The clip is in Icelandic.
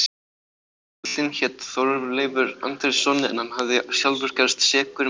Böðullinn hét Þorleifur Andrésson en hann hafði sjálfur gerst sekur um brot.